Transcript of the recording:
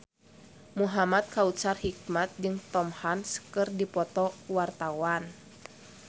Muhamad Kautsar Hikmat jeung Tom Hanks keur dipoto ku wartawan